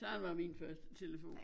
Sådan var min første telefon